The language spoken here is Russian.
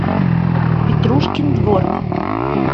петрушкин двор